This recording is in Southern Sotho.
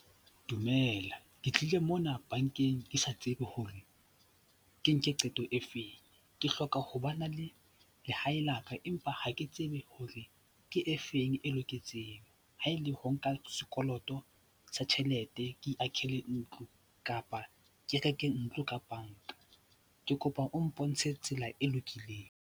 Dumela, ke tlile mona bankeng ke sa tsebe hore ke nke qeto e feng. Ke hloka ho ba na le lehae la ka empa ha ke tsebe hore ke efeng e loketseng, haele ho nka sekoloto sa tjhelete ke akhele ntlo kapa ke reke ntlo ka banka. Ke kopa o mpontshe tsela e lokileng.